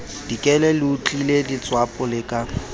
dikele leotlile letswapo le ka